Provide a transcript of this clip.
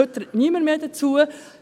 Heute spricht niemand mehr darüber.